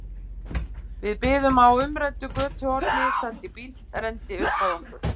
Við biðum á umræddu götuhorni þar til bíll renndi upp að okkur.